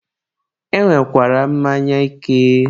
e nwekwara mmanya ike.